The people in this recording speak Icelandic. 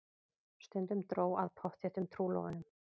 Stundum dró að pottþéttum trúlofunum.